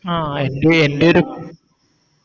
ആ എൻറെ എൻറെലും